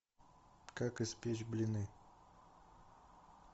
как испечь блины